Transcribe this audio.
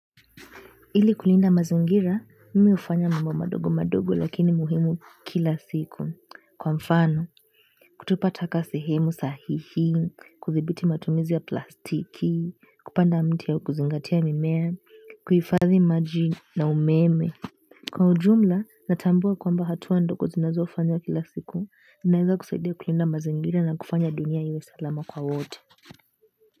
Ili kulinda mazingira mimi hufanya mambo madogo madogo lakini muhimu kila siku, kwa mfano kutupa taka sehemu sahihi, kudhibiti matumizi ya plastiki, kupanda miti au kuzingatia mimea, kuhifadhi maji na umeme. Kwa ujumla, natambua kwamba hatua ndogo zinazofanywa kila siku zinaweza kusaidia kulinda mazingira na kufanya dunia iwe salama kwa wote.